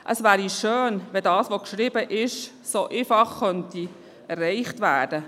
Es wäre schön, das, was geschrieben steht, könnte so einfach erreicht werden.